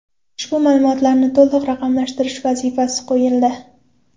Ushbu ma’lumotlarni to‘liq raqamlashtirish vazifasi qo‘yildi.